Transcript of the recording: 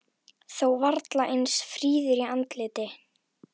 Þó varla eins fríður í andliti.